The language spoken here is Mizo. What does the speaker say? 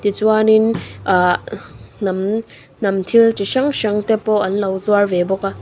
tichuanin ahh hnam hnam thil chi hrang hrang te pawh an lo zuar ve bawk a.